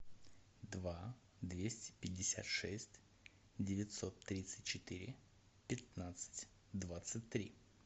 два двести пятьдесят шесть девятьсот тридцать четыре пятнадцать двадцать три